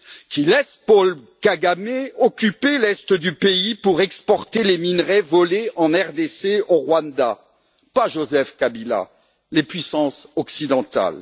Qui laisse Paul Kagamé occuper l'est du pays pour exporter les minerais volés en RDC au Rwanda? Pas Joseph Kabila, les puissances occidentales.